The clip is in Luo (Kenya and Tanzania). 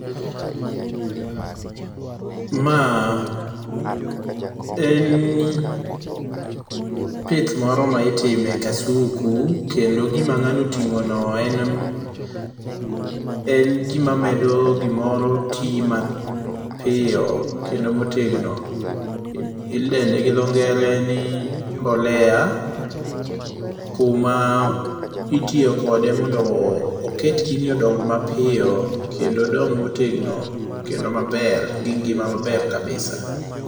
Maa en pith moro ma itime kasuku kendo gima ngano otingo no en gima medo gimoro medo tii mapiyo kendo motegno, idende gi dho ngere ni mbolea kuma itiyo kode mondo oket gini odong mapiyo kendo odong motegno kendo maber gi ngima maber kabisa